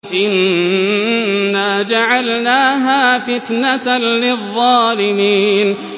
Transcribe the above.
إِنَّا جَعَلْنَاهَا فِتْنَةً لِّلظَّالِمِينَ